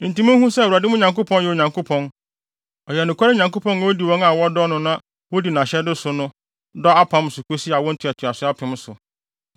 Enti munhu sɛ, Awurade, mo Nyankopɔn, yɛ Onyankopɔn; ɔyɛ nokware Nyankopɔn a odi wɔn a wɔdɔ no na wodi nʼahyɛde so no dɔ apam so kosi awo ntoatoaso apem so.